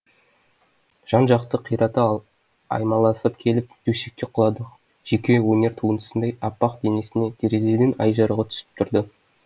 жан жақты қирата аймаласып келіп төсекке құладық жеке өнер туындысындай аппақ денесіне терезеден ай жарығы түсіп тұрды